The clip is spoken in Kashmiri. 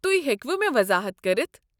تُہۍ ہیكوٕ مےٚ وضاحت كٔرِتھ۔